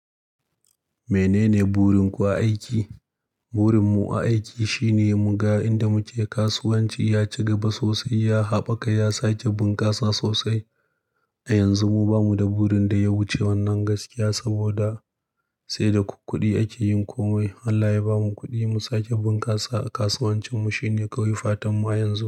Menene burin ku a aiki? Burin mu a aiki shine muga inda muke kasuwanci ya ci gaba sosai, ya haɓaka, ya sake bunƙasa sosai. A yanzu mu ba mu da burin da ya wuce wannan gaskiya saboda sai da kukkuɗi ake yin komai. Allah ya ba mu kuɗi mu sake bunƙasa a kasuwancin mu shine kawai fatan mu a yanzu.